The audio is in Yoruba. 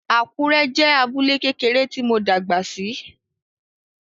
Àkúrẹ́ jẹ́ abúlé kékeré tí mo dàgbà sí